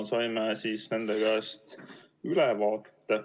Saime nende käest ülevaate.